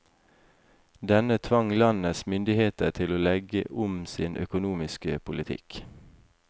Denne tvang landets myndigheter til å legge om sin økonomiske politikk.